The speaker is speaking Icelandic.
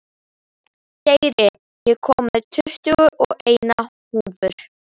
Geir, ég kom með tuttugu og eina húfur!